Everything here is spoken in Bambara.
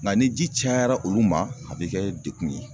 Nka ni ji cayara olu ma , a bɛ kɛ dekun ye.